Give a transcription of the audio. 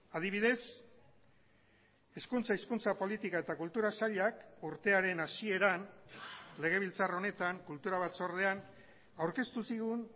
adibidez hezkuntza hizkuntza politika eta kultura sailak urtearen hasieran legebiltzar honetan kultura batzordean aurkeztu zigun